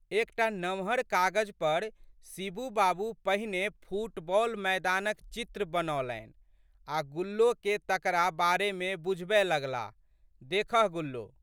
एक टा नमहर कागज पर शिबू बाबू पहिने फुटबॉल मैदानक चित्र बनौलनि आ' गुल्लोके तकरा बारेमे बुझबए लगलाह, देखह गुल्लो!